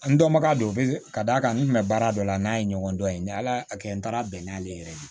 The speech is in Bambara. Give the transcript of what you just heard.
An dɔnbaga don ka d'a kan n kun bɛ baara dɔ la n'a ye ɲɔgɔn dɔn ye ni ala y'a kɛ n taara bɛn n'ale yɛrɛ ye